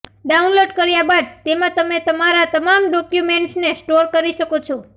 download કર્યા બાદ તેમા તમે તમારા તમામ ડોક્યુમેન્ટ્સને સ્ટોર કરી શકો છો